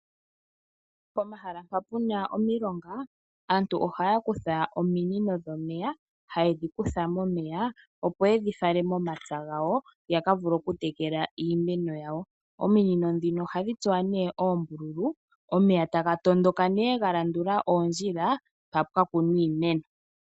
Pomahala mpa pu na omilonga, aantu ohaya kutha ominino dhomeya, haye dhi kutha momeya opo ye dhi fale momapya gawo, ya ka vule okutekela iimeno yawo. Ominino ndhino ohadhi tsuwa nduno oombululu, omeya taga tondoka nduno ga landula oondjila mpa pwa kunwa iimeno.